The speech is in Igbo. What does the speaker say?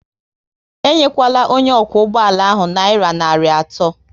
Enyekwala onye okwu ụgbọala nayira narị atọ